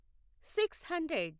six hundred